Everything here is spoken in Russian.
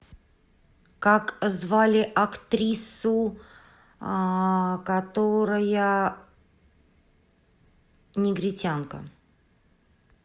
как звали актрису а которая негритянка